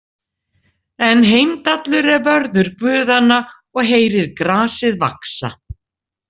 En Heimdallur er vörður guðanna og heyrir grasið vaxa.